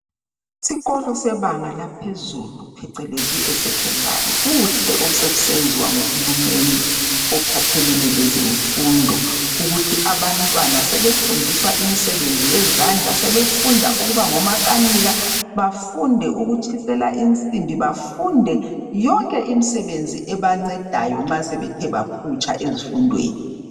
Isikolo sebanga laphezulu phecelezi esekhondari kuhle osekusenziwa nguhulumeni ophathelene lezefundo ukuthi abantwana sebefundiswa imisebenzi yezandla. Sebefunda ukuba ngomakanika, bafunde ukutshisela insimbi, bafunde yonke imisebenzi ebancedayo nxa sebethe baphutsha ezifundweni.